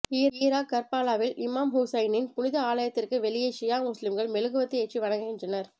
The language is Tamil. ஈராக் கர்பாலாவில் இமாம் ஹுசைனின் புனித ஆலயத்திற்கு வெளியே ஷியா முஸ்லிம்கள் மெழுகுவர்த்தி ஏற்றி வணங்குகின்றனர்